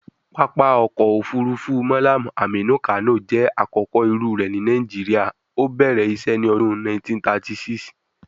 Pápá ọkọ̀ òfurufú Mallam Aminu Kano jẹ́ àkọ́kọ́ irú rẹ̀ ní Nigeria, ó bẹ̀rẹ̀ isé ní ọdún 1936.